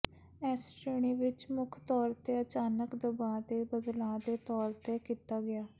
ਇਸ ਸ਼੍ਰੇਣੀ ਵਿੱਚ ਮੁੱਖ ਤੌਰ ਤੇ ਅਚਾਨਕ ਦਬਾਅ ਦੇ ਬਦਲਾਅ ਦੇ ਤੌਰ ਤੇ ਕੀਤਾ ਗਿਆ